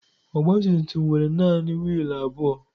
Ọgbatumtum nwere naanị wiil abụọ.